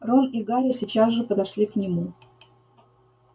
рон и гарри сейчас же подошли к нему